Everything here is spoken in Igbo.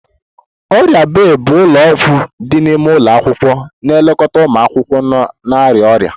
Ọrịa bay bụ ụlọ ọgwụ dị n'ime ụlọ akwụkwọ na-elekọta ụmụ akwụkwọ na-arịa ọrịa